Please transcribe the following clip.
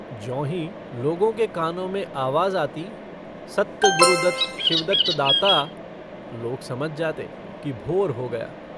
ज्यों ही लोगों के कानों में आवाज़ आती - सत्त गुरुदत्त शिवदत्त दाता, लोग समझ जाते कि भोर हो गया।